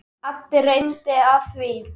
Addi reddaði því.